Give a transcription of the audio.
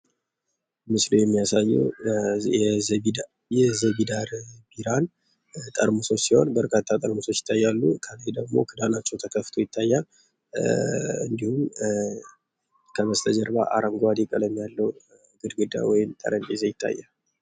ምስሉ የሚያሳየ የዘቦዳር ቢራን ጠርሙሶች ሲሆን በጣም በርካታ ጠርሙሶች ይታያሉ። ከላይ ደግሞ ክዳናቸው ተከፍቶ ይታያል። እንዲሁም ከበስተጀርባ አረንጓዴ ቀለም ያለው ግድግዳ ወይም ጠረንጰዛ ይታያል።